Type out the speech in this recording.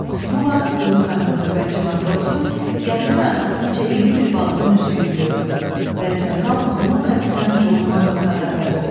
Bu vaxt Dunkanın növbətçi matrosu gəminin arxasınca iri bir balığın üzdüyünü gördü və dərhal bunu kapitan Con Manglsa xəbər verdi.